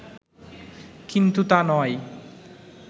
কিন্তু তা নয়